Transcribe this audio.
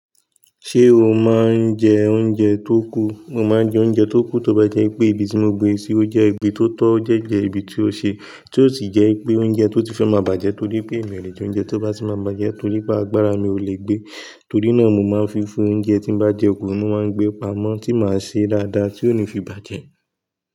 Ṣé o máa ń jẹ oúnjẹ tó kù? Mo máa ń jẹ oúnjẹ tó kù tóbá jẹ́ pé ibi tí mo gbé sí ó jẹ́ ibi tó tọ́ jẹ́jẹ́ ibi tí ó ṣe, tí ó sì jẹ́ pé oúnjẹ tó ti fẹ́ máa bàjẹ́ torí pé mi ò lè jẹ oúnjẹ tó bá ti máa bàjẹ́ torí pé agbára mi ò lè gbé. Torí náà mo máa ń fífún oúnjẹ tí n bá jẹ ọkọ mi máa ń gbé pamọ́ tí màá ṣe dáadáa tí ó ní fi bàjẹ́.